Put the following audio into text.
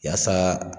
Yaasa